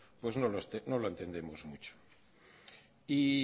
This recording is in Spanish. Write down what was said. pues no lo entendemos mucho y